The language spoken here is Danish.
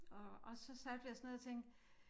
Og og så satte vi os ned og tænkte